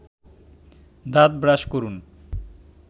দাঁত ব্রাশ করুন